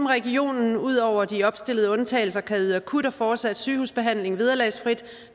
regionen ud over de opstillede undtagelser kan yde akut og fortsat sygehusbehandling vederlagsfrit